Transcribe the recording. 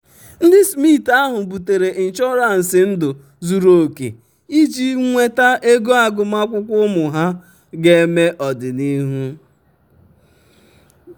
ndị smith ahụ butere ịnshọransị ndụ zuru oke iji nweta ego agụmakwụkwọ ụmụ ha ga-eme n'ọdịnihu.